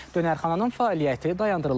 Dönərxananın fəaliyyəti dayandırılıb.